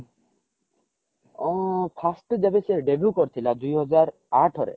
first ସେ ଯେବେ debut କରିଥିଲା ଦୁଇ ହଜାର ଆଠ ରେ